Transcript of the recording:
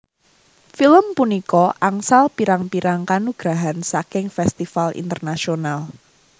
Film punika angsal pirang pirrang kanugrahan saking festival Internasional